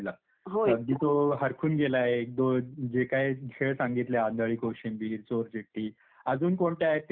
अगदी तो हरखून गेलाय. तो जे काही खेळ सांगितले आंधळी कोशिंबीर, चोरचिठ्ठी, अजून कोणते आहेत ते सांग विचारतोय.